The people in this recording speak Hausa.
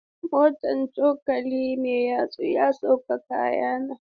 Motar cokali mai yatsu ya sauke kayana.